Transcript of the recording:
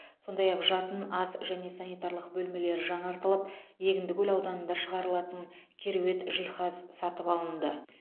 сондай ақ жатын ас және санитарлық бөлмелері жаңартылып егіндікөл ауданында шығарылылатын кереует жиһаз сатып алынды